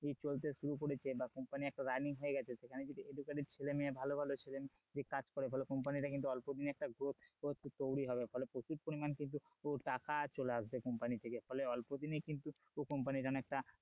চলতে শুরু করেছে বা company একটা running হয়ে গেছে তো সেখানে যদি educated ছেলে মেয়ে ভালো ভালো ছেলে মেয়ে যদি কাজ করে তাহলে comapny টা কিন্তু অল্প দিনে একটা growth তৈরী হবে ফলে প্রচুর পরিমানে কিন্তু টাকা চলে আসবে company থেকে ফলে অল্প দিনে কিন্তু company র জন্য একটা,